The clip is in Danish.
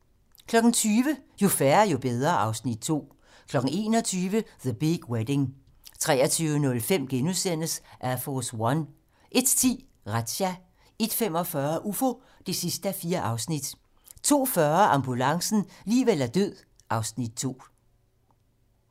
20:00: Jo færre, jo bedre (Afs. 2) 21:00: The Big Wedding 23:05: Air Force One * 01:10: Razzia 01:45: Ufo (4:4) 02:40: Ambulancen - liv eller død (Afs. 2)